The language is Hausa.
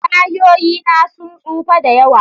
Tayoyi na sun tsufa da yawa.